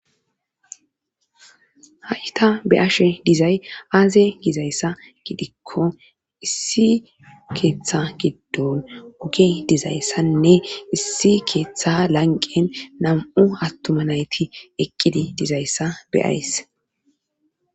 ha7yta be ashe dizay aaze gizayssa gidikko issi keeththa giddon woge dizayssanne issi keeththa lanqen nam7u attuma nayti ekkidi dizayssa beyays